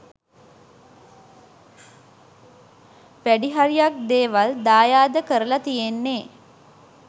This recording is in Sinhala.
වැඩි හරියක් දේවල් දායාද කරල තියෙන්නෙ